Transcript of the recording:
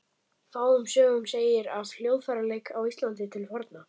Fáum sögum segir af hljóðfæraleik á Íslandi til forna.